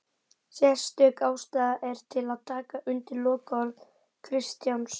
Sérstök ástæða er til að taka undir lokaorð Kristjáns